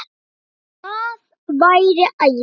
Það væri æði